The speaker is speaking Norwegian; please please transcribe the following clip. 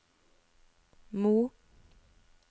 Mo